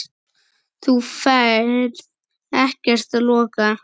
Þú ferð ekkert að loka!